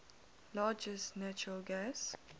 largest natural gas